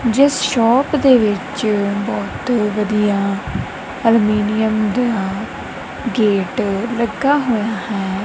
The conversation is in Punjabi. ਜਿਸ ਸ਼ੋਪ ਦੇ ਵਿੱਚ ਬਹੁਤ ਵਧੀਆ ਅਲਮੀਨੀਅਮ ਦਾ ਗੇਟ ਲੱਗਾ ਹੋਇਆ ਹੈ।